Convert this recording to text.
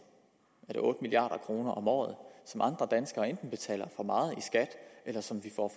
er det otte milliard kroner om året som andre danskere enten betaler for meget i skat eller som vi får